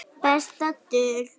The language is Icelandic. Besta dul